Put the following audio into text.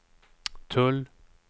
tull